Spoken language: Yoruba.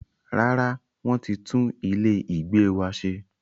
Rárá, wọ́n ti tún ilé ìgbé wa ṣe.